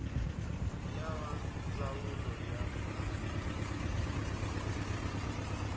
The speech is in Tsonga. ya va ndzawulo ya ta